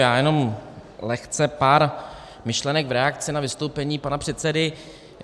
Já jenom lehce pár myšlenek v reakci na vystoupení pana předsedy.